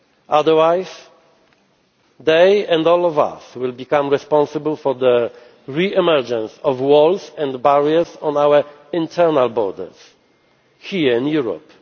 Otherwise, they, and all of us, will become responsible for the re emergence of walls and barriers on our internal borders, here in